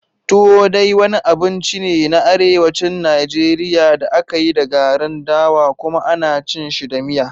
Tuwo dai wani abinci ne na Arewacin Najeriya da aka yi da garin dawa kuma ana cin shi da miya.